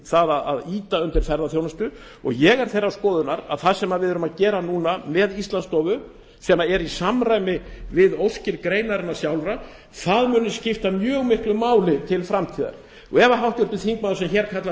því að ýta undir ferðaþjónustu og ég er þeirrar skoðunar að það sem við erum að gera núna með íslandsstofu sem er í samræmi við óskir greinarinnar sjálfrar muni skipta mjög miklu máli til framtíðar og ef háttvirtur þingmaður sem hér kallar